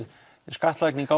skattlagning